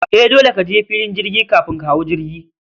E, dole kaje filin jirgi kafin ka hau jirgi